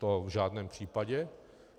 To v žádném případě.